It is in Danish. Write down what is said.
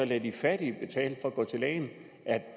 lader de fattige betale for at gå til lægen er